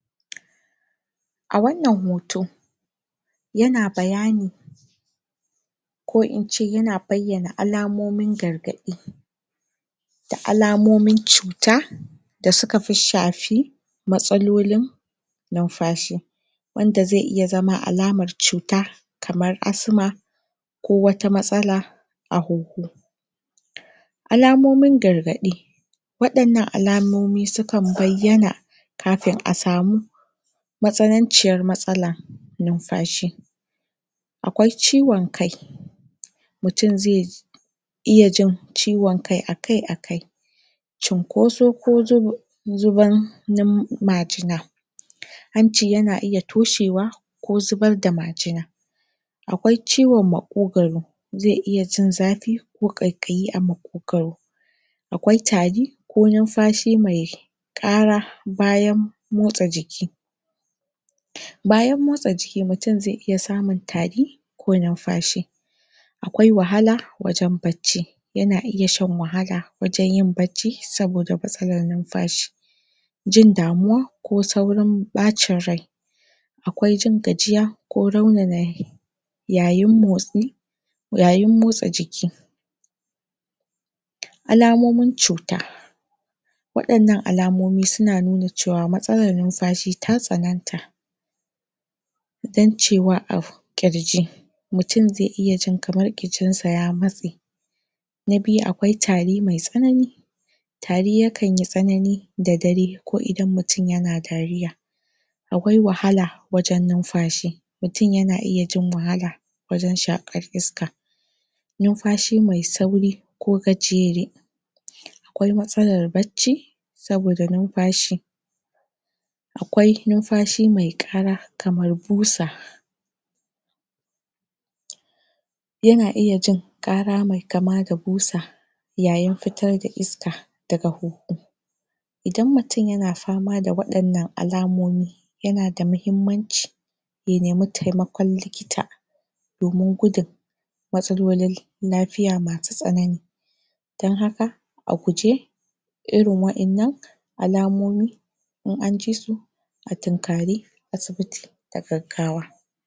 A wannan hoto, yana bayani, ko in ce yana bayyana alamomin gargaɗi, da alamomin cuta, da suka fi shafi matsalolin numfashi, wanda zai iya zama alamar cuta kamar: asma, ko wata matsala a huhu. Alamomin gargaɗi. Waɗannan alamomi su kan bayyana kafin a samu matsananciyar matsala numfashi. Akwai ciwon kai, mutum ze iya jin ciwon kai akai-akai, cinkoso ko zuban majina. Hanci yana iya toshewa, ko zubar da majina. Akwai ciwon maƙogwaro, ze iya jin zafi, ko ƙaiƙayi a maƙogwaro. Akwai tari, ko numfashi mai ƙara bayan motsa jiki. Bayan motsa jiki, mutum zai iya samun tari ko numfashi. Akwai wahala wajen bacci, yana iya shan wahala wajen yin bacci, saboda matsalara numfashi. Jin damuwa, ko saurin ɓacin rai. Akwai jin gajiya, ko raunana yayin motsi yayin motsa jiki. Alamomin cuta: Waɗannan alamomi suna nuna cewa matsalan numfashi ta tsananta, ƙirji. Mutun zai iya jin kamar ƙirjin sa ya matse. Na biyu, akwai tari mai tsanani. Tari ya kan yi tsanani da dare, ko idan mutum yana dariya. Akwai wahala wajan numfashi, mutum yana iya jin wahala wajan shaƙar iska. Numfashi mai sauri ko gajere. Akwai matsalar bacci, saboda numfashi. kamar busa. Yana iya jin ƙara mai kama da busa, yayin fitar da iska daga huhu. Idan mutum yana fama da waɗannan alamomi, yana da muhimmanci ya nemi taimakon likita, domun gudun matsalolin lafiya masu tsanani. Dan haka, a guje irin wa'innan alamomi, in anji su a tinkari asibiti da gaggawa.